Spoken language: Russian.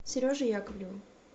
сереже яковлеву